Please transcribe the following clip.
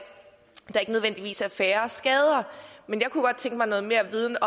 færre skader jeg kunne godt tænke mig noget mere viden